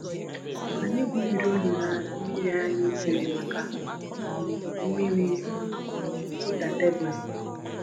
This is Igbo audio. Anyị gwumiri olulu mmiri anyị kwere maka um mmiri ịda tebụlụ